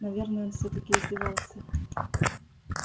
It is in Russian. наверное он всё-таки издевался